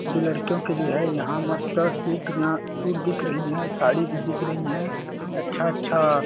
जो लड़कियों के लिए है यहां मस्त सूट यहां सूट दिख रही है साड़ी भी दिख रही हैं अच्छा अच्छा --